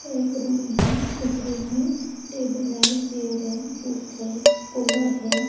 एक रूम है इस रूम में टेबल है चेयर है बुक है कूलर है।